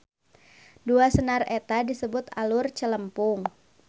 Dua senar eta disebut alur celempung.